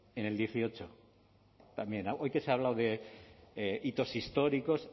en el dieciocho también hoy que se ha hablado de hitos históricos